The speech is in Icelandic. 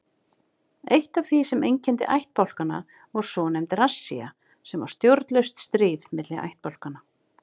Eitt af því sem einkenndi ættbálkana var svonefnd rassía sem var stjórnlaust stríð milli ættbálkanna.